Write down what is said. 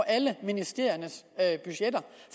alle ministeriernes budgetter